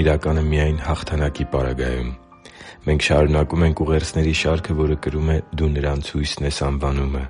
իրական է միայն հաղթանակի պարագայում Մենք շարունակում ենք ուղերձների շարքը, որը կրում է «Դու նրանց հույսն ես․․․»անվանումը։